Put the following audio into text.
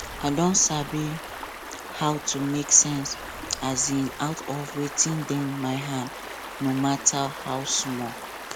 i don sabi how to make sense um out of wetin dey my hand no matter how small